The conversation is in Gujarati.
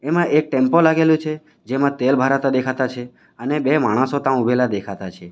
એમાં એક ટેમ્પો લાગેલો છે જેમાં તેલ ભરાતા દેખાતા છે અને બે માણસો તાં ઉભેલા દેખાતા છે.